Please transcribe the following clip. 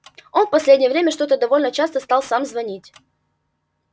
он в последнее время что-то довольно часто стал сам звонить